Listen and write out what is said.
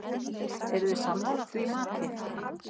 Eruð þið sammála því mati?